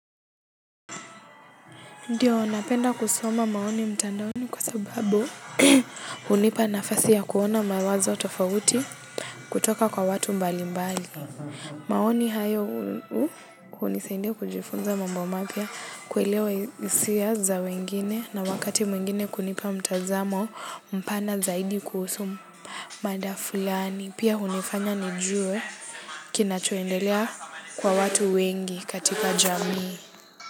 Ndiyo, napenda kusoma maoni mtandaoni kwa sababu hunipa nafasi ya kuona mawazo tofauti kutoka kwa watu mbalimbali. Maoni hayo hunisaidia kujifunza mambo mapya kuelewa hisia za wengine na wakati mwingine kunipa mtazamo mpana zaidi kuhusu mada fulani. Pia hunifanya nijue kinachoendelea kwa watu wengi katika jamii.